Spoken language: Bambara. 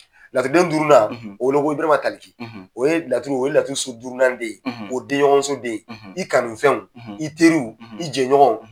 Laturuden duurunan o bɛ weele ko Ibarahima Tali o ye laturu, o ye laturuso durunan den ye, o ye den ɲɔgɔnso den ye , i kanufɛnw, , i teriw, , i jɛɲɔgɔw